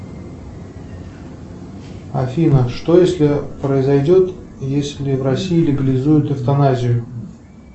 афина что если произойдет если в россии легализуют эвтаназию